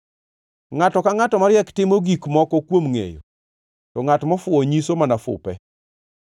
Ngʼato ka ngʼato mariek timo gik moko kuom ngʼeyo, to ngʼat mofuwo nyiso mana fupe.